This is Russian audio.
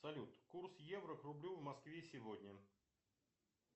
салют курс евро к рублю в москве сегодня